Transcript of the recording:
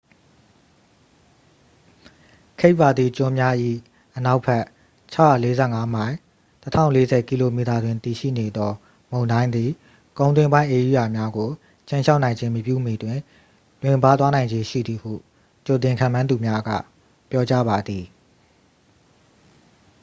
cape verde ကျွန်းများ၏အနောက်ဘက် ၆၄၅ မိုင် ၁၀၄၀ km တွင်တည်ရှိနေသောမုန်တိုင်းသည် ကုန်းတွင်းပိုင်းဧရိယာများကို ခြိမ်းခြောက်နိုင်ခြင်းမပြုမီတွင် လွင့်ပါးသွားနိုင်ခြေရှိသည်ဟု ကြိုတင်ခန့်မှန်းသူများက ပြောကြားပါသည်။